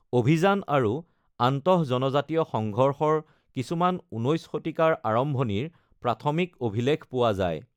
অভিযান আৰু আন্তঃজনজাতীয় সংঘৰ্ষৰ কিছুমান ১৯ শতিকাৰ আৰম্ভণিৰ প্ৰাথমিক অভিলেখ পোৱা যায়।